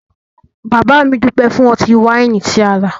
Bàbá mi dúpẹ́ fún ọtí-wáìnì tí a rà